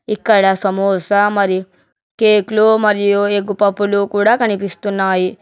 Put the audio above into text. ఇక్కడ సమోసా మరియు కేక్ లో మరియు ఎగ్ పప్పులు కూడా కనిపిస్తున్నాయి.